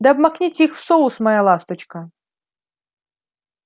да обмакните их в соус моя ласточка